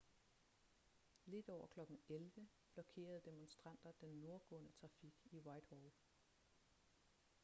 lidt over kl. 11:00 blokerede demonstranter den nordgående trafik i whitehall